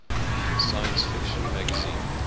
science fiction magazine